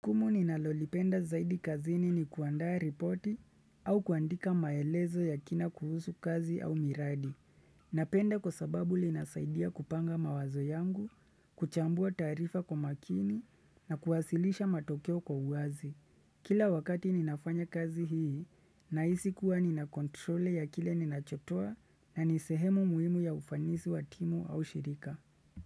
Jukumu ninalolipenda zaidi kazini ni kuandaa ripoti au kuandika maelezo ya kina kuhusu kazi au miradi. Napenda kwa sababu linasaidia kupanga mawazo yangu, kuchambua taarifa kwa makini na kuwasilisha matokeo kwa uwazi. Kila wakati ninafanya kazi hii, nahisi kuwa nina control ya kile ninachotoa na nisehemu muhimu ya ufanisi wa timu au shirika.